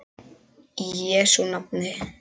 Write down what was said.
Í Jesú nafni.